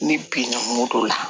Ne binna moto la